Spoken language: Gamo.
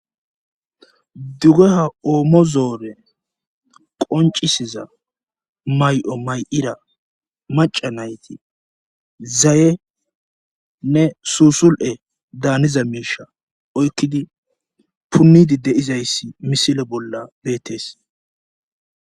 Dugehaa oomo zoone qonccisisiza may7o may7ida macca nayti zayenne suusul7e daaniza miisha oykkidi punniiddi dde7izayssi misile bolla beettees.